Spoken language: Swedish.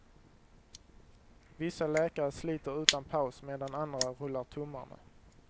Vissa läkare sliter utan paus medan andra rullar tummarna.